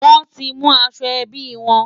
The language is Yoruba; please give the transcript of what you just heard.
Wọ́n ti mú aṣọ ẹbí wọn.